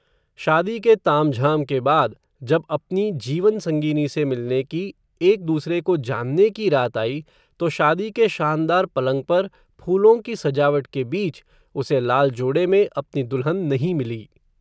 शादी के ताम झाम के बाद, जब अपनी जीवन संगिनी से मिलने की, एक दूसरे को जानने की रात आई, तो शादी के शानदार पलंग पर, फूलों की सजावट के बीच, उसे लाल जोडे में, अपनी दुल्हन नहीं मिली